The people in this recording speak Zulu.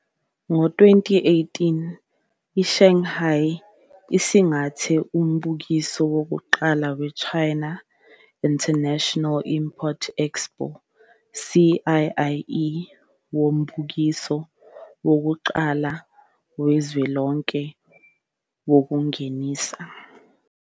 Ngo-2018, iShanghai isingathe umbukiso wokuqala we-China International Import Expo, CIIE, okuwumbukiso wokuqala wezwe lonke wokungenisa.